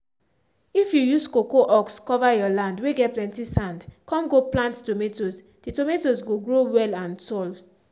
if you use cocoa husk cover you land whey get plenty sandcome go play tomatoes the tomatoes go grow well and tall.